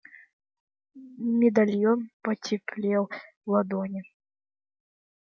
медальон потеплел в ладони